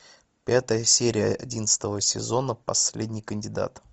пятая серия одиннадцатого сезона последний кандидат